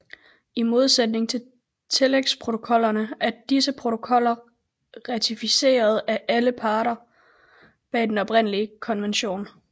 I modsætning til tillægsprotokollerne er disse protokoller ratificeret af alle parterne bag den oprindelige konvention